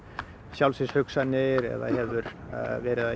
sjálfsvígshugsanir eða hefur